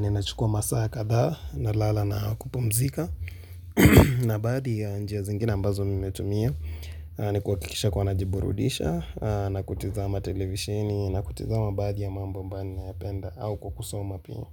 Ninachukua masaa kadhaa nalala na kupumzika na baadhi ya njia zingine ambazo mimi hutumia ni kuhakikisha kuwa najiburudisha na kutizama televisheni na kutizama baadhi ya mambo ambayo nipenda au kukusoma pia.